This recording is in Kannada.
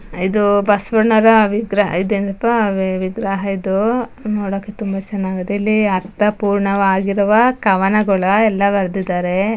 ಇದು ಬಸವಣ್ಣರ ವಿಗ್ರಹ ಇದೇನಪ್ಪಾ ವಿಗ್ರಹ ಇದು ನೋಡಕ್ ತುಂಬಾ ಚೆನ್ನಾಗಾದೆ ಇಲ್ಲಿ ಅರ್ಥಪೂರ್ಣವಾಗಿರುವ ಕವನಗಳ ಎಲ್ಲಾ ಬರ್ದಿದಾರೆ.